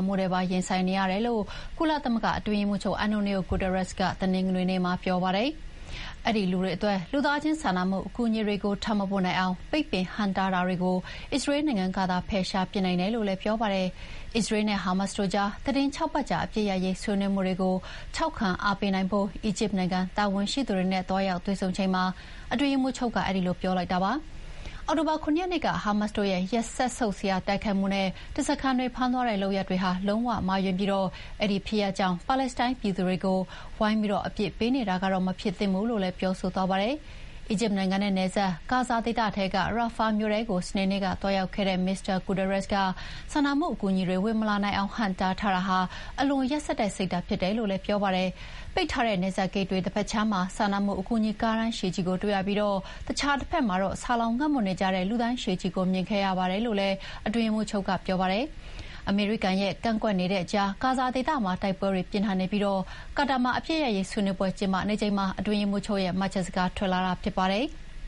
မှုနဲ့ပါ ရင်ဆိုင်နေရတယ်လို့ ကုလသမဂ္ဂအတွင်းရေးမှူးချုပ် အန်တိုနီယို ဂူတားရက်စ်က တနင်္ဂနွေနေ့မှာ ပြောပါတယ်။ အဲဒီလူတွေအတွက် လူသားချင်းစာနာမှုအကူအညီတွေကို ထပ်မပို့နိုင်အောင် ပိတ်ပင်ဟန့်တားထားတာတွေကို အစ္စရေးနိုင်ငံကသာ ဖယ်ရှားနိုင်တယ်လို့လည်း ပြောပါတယ်။ အစ္စရေးလ်နဲ့ ဟာမတ်စ်တို့ကြား သီတင်း ၆ ပတ်ကြာအပစ်ရပ်ရေး ဆွေးနွေးမှုတွေကို ထောက်ခံအားပေးနိုင်ဖို့ အီဂျစ်နိုင်ငံတာဝန်ရှိသူတွေနဲ့ သွားရောက်တွေ့ဆုံချိန်မှာ အတွင်းရေးမှူးချုပ်က အဲဒီလိုပြောလိုက်တာပါ။ အောက်တိုဘာ ၇ ရက်နေ့က ဟာမတ်စ်တို့ရဲ့စက်ဆုပ်စရာတိုက်ခိုက်မှုနဲ့ ဓားစားခံတွေဖမ်းသွားတဲ့လုပ်ရပ်တွေဟာ လုံးဝမှားယွင်းပြီး အဲဒီဖြစ်ရပ်ကြောင့် ပါလက်စတိုင်းပြည်သူတွေကို ဝိုင်းပြီးအပြစ်ပေးနေတာတော့ မဖြစ်သင့်ဘူးလို့လည်း ပြောဆိုသွားပါတယ်။ အီဂျစ်နိုင်ငံနဲ့နယ်စပ် ဂါဇာဒေသထဲက Rafah မြို့ထဲကို စနေနေ့ကသွားရောက်ခဲ့တဲ့ မစ္စတာ ဂူတာရက်စ်က စာနာမှုအကူအညီတွေဝင်မလာနိုင်အောင် ဟန့်တားထားတာဟာ အလွန်ရက်စက်တဲ့ စိတ်ဓာတ်ဖြစ်တယ်လို့လည်း ပြောပါတယ်။ ပိတ်ထားတဲ့နယ်စပ်ဂိတ်တဘက်ခြမ်းမှာ စာနာမှုအကူအညီကားတန်းရှည်ကြီးကိုတွေ့ရပြီး တခြားတဘက်မှာတော့ ဆာလောင်ငတ်မွတ်နေတဲ့ လူတန်းရှည်ကြီးကိုမြင်ခဲ့ရပါတယ်လို့လည်း အတွင်းရေးမှူးချုပ်က ပြောပါတယ်။ အမေရိကန်ရဲ့ ကန့်ကွက်နေတဲ့ကြားက ဂါဇာဒေသမှာ တိုက်ပွဲတွေပြင်းထန်နေပြီး ကာတာမှာ အပစ်ရပ်ရေးဆွေးနွေးပွဲကျင်းပနေချိန်မှာ အတွင်းရေးမှူးချုပ်ရဲ့ မှတ်ချက်စကားထွက်လာတာဖြစ်ပါတယ်။